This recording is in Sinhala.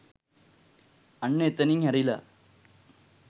අන්න එතනින් හැරිලා